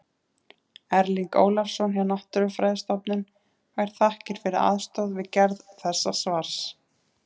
Erling Ólafsson hjá Náttúrufræðistofnun fær þakkir fyrir aðstoð við gerð þessa svars.